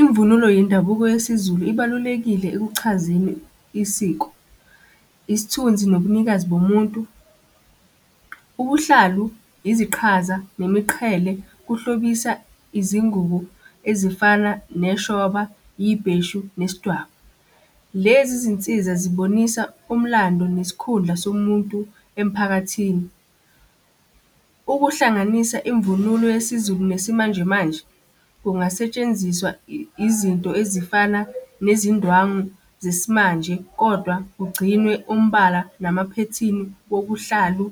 Imvunulo yendabuko yesiZulu ibalulekile ekuchazeni isiko, isithunzi nobunikazi bomuntu. Ubuhlalu, iziqhaza, nemiqhele, kuhlobisa izingubo ezifana neshoba, yibheshu, nesidwaba. Lezi zinsiza zibonisa umlando nesikhundla somuntu emphakathini. Ukuhlanganisa imvunulo yesiZulu nesimanjemanje, kungasetshenziswa izinto ezifana nezindwangu zesimanje, kodwa kugcinwe umbala namaphethini wobuhlalu